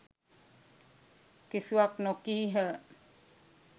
කිසිවක් නොකීහ